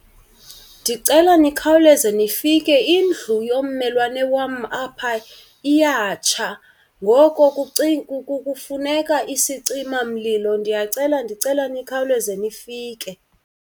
Ndicela nikhawuleze nifike indlu yommelwana wam apha iyatsha ngoko kufuneka isicimamlilo. Ndiyacela ndicela nikhawuleze nifike.